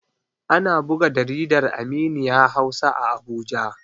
Ana buga jaridar Aminiya Hausa a Abuja.